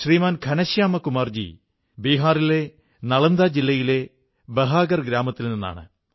ഉത്സവത്തിന്റെ ഈ ഉത്സാഹം കച്ചവടസ്ഥലങ്ങളുടെ ഈ തിളക്കം ഒക്കെ പരസ്പരം ബന്ധപ്പെട്ടിരിക്കുന്നു